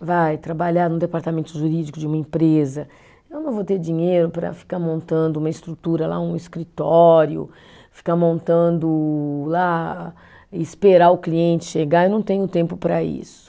vai, trabalhar no departamento jurídico de uma empresa, eu não vou ter dinheiro para ficar montando uma estrutura lá, um escritório, ficar montando lá, esperar o cliente chegar, eu não tenho tempo para isso.